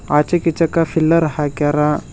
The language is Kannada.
ಆಚೆ ಚಿಕ್ಕ ಚಿಕ್ಕ ಫಿಲ್ಲಾರ್ ಹಾಕ್ಯಾರ.